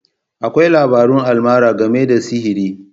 Akwai labarun almara game da sihiri.